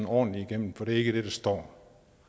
ordentligt igennem for det er ikke det der står